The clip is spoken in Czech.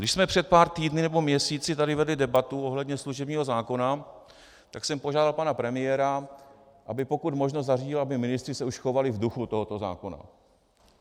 Když jsme před pár týdny nebo měsíci tady vedli debatu ohledně služebního zákona, tak jsem požádal pana premiéra, aby pokud možno zařídil, aby ministři se už chovali v duchu tohoto zákona.